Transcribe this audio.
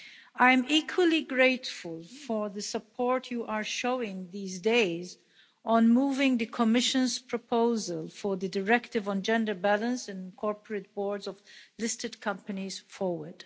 I'm equally grateful for the support you are showing these days on moving the Commission's proposal for the directive on gender balance on corporate boards of listed companies forward.